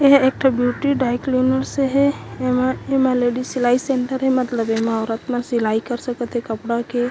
एह एक ठो ब्यूटी द्रिक्लिनर्स हे एमा लेडिस सेन्टर हे मतलब एमा औरत सब सिलाई कर सकत हे कपड़ा के--